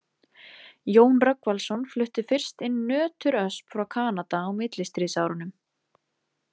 Jón Rögnvaldsson flutti fyrst inn nöturösp frá Kanada á millistríðsárunum.